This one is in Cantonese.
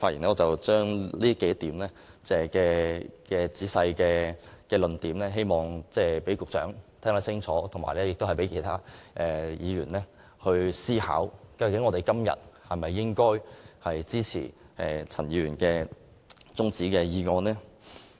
我會仔細說明這幾個論點，希望局長可以聽清楚，以及讓其他議員思考一下，應否支持陳議員提出的中止待續議案。